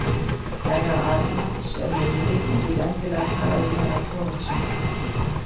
Herra Arnalds er niðri og vill endilega tala við herra Thoroddsen.